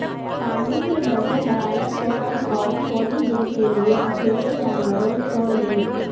پانی کے درجہ حرارت کو کم اور تھوڑی دیر کے لئے اکیلے جانوروں چھوڑ دیں